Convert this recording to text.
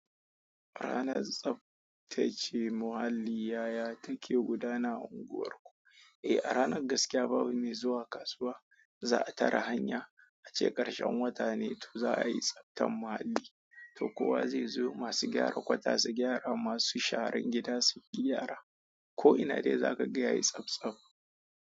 A ranar tsabta ce muhalli yaya take gudana a unguwarku? Eh, a ranar gaskiya babu me zuwa kasuwa za a tare hanya. A ce ƙarshen wata ne, to za a yi tsabtan muhalli. To kowa zai zo masu gyara kwata su gyara, masu sharan gida su yi gyara. Ko ina dai za ka ga yayi tsabtsab.